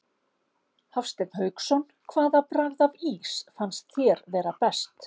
Hafsteinn Hauksson: Hvaða bragð af ís fannst þér vera best?